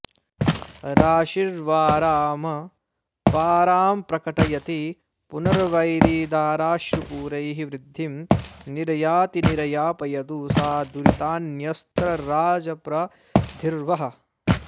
राशिर्वारामपारां प्रकटयति पुनर्वैरिदाराश्रुपूरैः वृद्धिं निर्याति निर्यापयतु स दुरितान्यस्त्रराजप्रधिर्वः